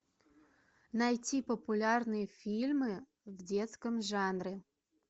найти популярные фильмы в детском жанре